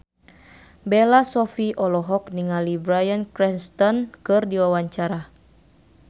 Bella Shofie olohok ningali Bryan Cranston keur diwawancara